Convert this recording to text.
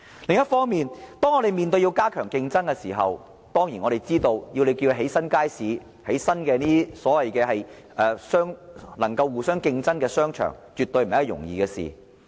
另一方面，當我們要加強競爭的時候，我們當然知道，要興建新街市或增設一些能夠互相競爭的商場，絕對不是一件容易的事。